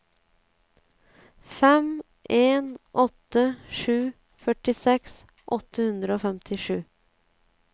fem en åtte sju førtiseks åtte hundre og femtisju